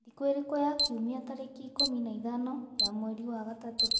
thĩkũ ĩrĩkũ ya kĩumĩa tarĩkĩ ikumi na ithano ya mwerĩ wa gatatu